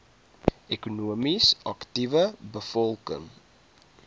ekonomies aktiewe bevolking